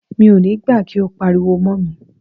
Mi ò ní gbà kí o pariwo mọ́ mi.